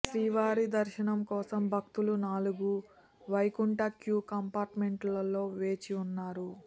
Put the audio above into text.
శ్రీవారి దర్శనం కోసం భక్తులు నాలుగు వైకుంఠం క్యూ కంపార్ట్మెంట్లలలో వేచి ఉన్నారు